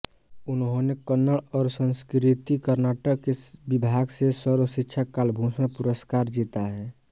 उन्होंने कन्नड़ और संस्कृति कर्नाटक के विभाग से सर्वशिक्षा कालभूषण पुरस्कार जीता है